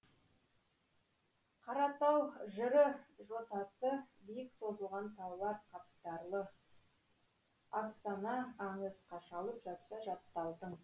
қаратау жыры жотасы биік созылған таулар қатпарлы афсана аңыз қашалып жатса жатталдың